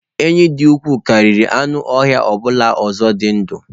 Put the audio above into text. Enyí dị ukwuu karịa anụ ọhịa ọ bụla ọzọ dị ndụ.